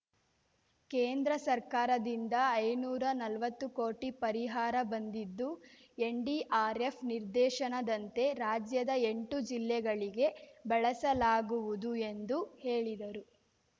ಕೇಂದ್ರ ಸರ್ಕಾರದಿಂದ ಐನೂರಾ ನಲ್ವತ್ತು ಕೋಟಿ ಪರಿಹಾರ ಬಂದಿದ್ದು ಎನ್‌ಡಿಆರ್‌ಎಫ್‌ ನಿರ್ದೇಶನದಂತೆ ರಾಜ್ಯದ ಎಂಟು ಜಿಲ್ಲೆಗಳಿಗೆ ಬಳಸಲಾಗುವುದು ಎಂದು ಹೇಳಿದರು